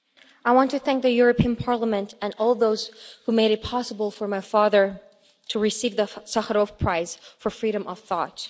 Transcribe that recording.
I want to thank the European Parliament and all those who made it possible for my father to receive the Sakharov Prize for Freedom of Thought.